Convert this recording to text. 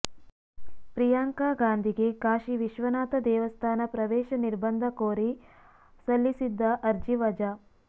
ಪ್ರಿಯಾಂಕಾ ಗಾಂಧಿಗೆ ಕಾಶಿ ವಿಶ್ವನಾಥ ದೇವಸ್ಥಾನ ಪ್ರವೇಶ ನಿರ್ಬಂಧ ಕೋರಿ ಸಲ್ಲಿಸಿದ್ದ ಅರ್ಜಿ ವಜಾ